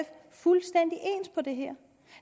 fuldstændig ens på det her